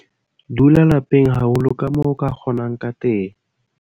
Dula lapeng haholo kamoo o ka kgonang ka teng.